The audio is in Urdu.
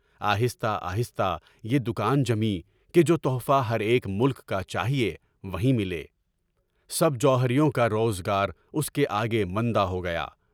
آہستہ آہستہ یہ دکان جمی کہ جو تحفہ میرے ایک ملک کا چاہیے، وہیں ملے، سب جومیریوں کا روزگار اُس کے آگے منڈا ہو گیا۔